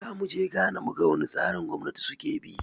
Zamu je Ghana mu ga wane tsarin gwamnati suke bi